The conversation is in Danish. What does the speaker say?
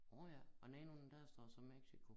Nårh ja og den ene af dem der står så Mexico